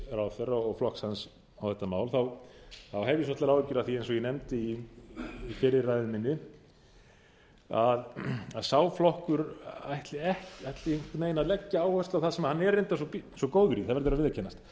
utanríkisráðherra og flokks hans á þetta mál hef ég svolitlar áhyggjur af því eins og ég nefndi í fyrri ræðu minni að sá flokkur ætli einhvern veginn að leggja áherslu á það sem hann er reyndar svo góður í það verður að viðurkennast